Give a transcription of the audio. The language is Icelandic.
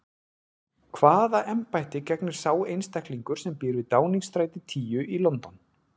Hvaða embætti gegnir sá einstaklingur sem býr við Downingstræti tíu í London?